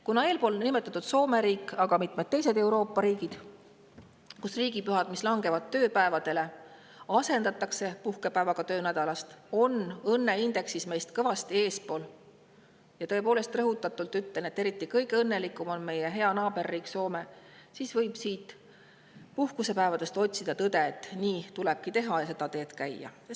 Kuna eespool nimetatud Soome riik ja ka mitmed teised Euroopa riigid, kus asendatakse langevad riigipühad puhkepäevaga, on õnneindeksist meist kõvasti eespool – ja tõepoolest, ütlen rõhutatult, et kõige õnnelikum on meie hea naaberriik Soome –, siis võib nendest puhkusepäevadest otsida tõde, et nii tulebki teha ja seda teed käia.